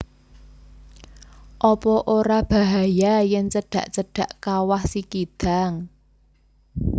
Opo ora bahaya yen cedak cedak Kawah Sikidang?